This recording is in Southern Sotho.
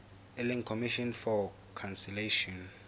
e leng commission for conciliation